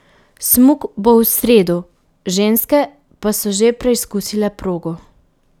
Smuk bo v sredo, ženske pa so že preizkusile progo.